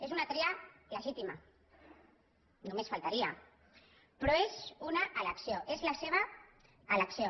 és una tria legítima només faltaria però és una elecció és la seva elecció